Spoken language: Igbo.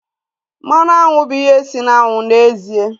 Mmanụ aṅụ bụ ihe si na aṅụ n'ezie